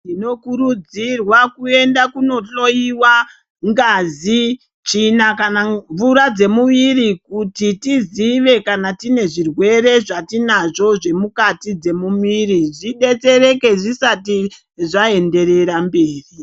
Tinokurudzirwa kuenda kunohlowiwa ngazi, tsvina kana mvura dzemuviri kuti tizive kana tine zvirwere zvatinazvo zvemukati dzemuviri zvidetsereke zvisati zvaenderera mberi.